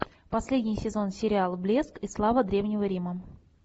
последний сезон сериал блеск и слава древнего рима